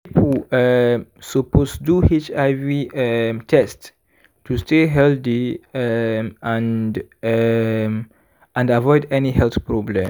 people um suppose do hiv um test to stay healthy um and um and avoid any health problem